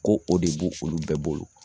Ko o de b'o olu bɛɛ bolo